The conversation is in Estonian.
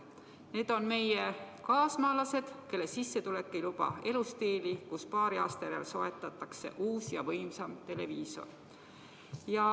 Need on meie kaasmaalased, kelle sissetulek ei luba elustiili, mille korral iga paari aasta järel soetatakse uus ja võimsam televiisor.